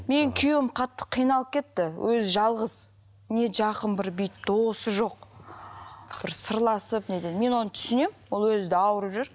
менің күйеуім қатты қиналып кетті өзі жалғыз не жақын бір бүйтіп досы жоқ бір сырласып не ететін мен оны түсінемін ол өзі де ауырып жүр